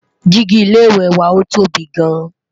Digi ilé ìwé wà ọ tóbi gaan